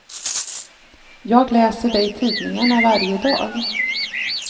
Jag läser det i tidningarna varje dag.